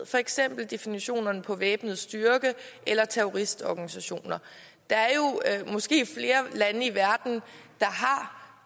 for eksempel definitionerne på væbnet styrke eller terroristorganisation der er måske flere lande i verden